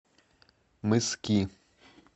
мыски